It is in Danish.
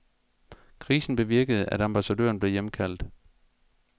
Krisen bevirkede, at ambassadøren blev hjemkaldt.